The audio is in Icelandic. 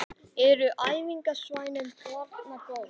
Eru æfingasvæðin þarna góð?